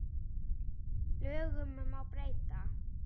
Lögum má breyta.